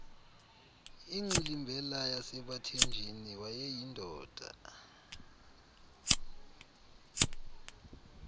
ingxilimbela yasebathenjini wayeyindoda